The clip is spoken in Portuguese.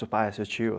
Seu pai, seu tio.